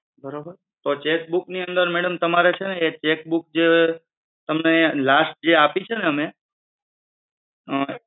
બરોબર? તો cheque book ની અંદર madam તમારે છે ને cheque book last જે આપી છે ને અમે?